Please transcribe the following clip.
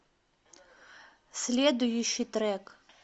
следующий трек